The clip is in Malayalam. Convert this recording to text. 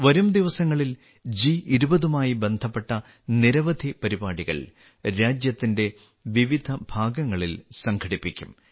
വരും ദിവസങ്ങളിൽ ജി20ഉമായി ബന്ധപ്പെട്ട നിരവധി പരിപാടികൾ രാജ്യത്തിന്റെ വിവിധ ഭാഗങ്ങളിൽ സംഘടിപ്പിക്കും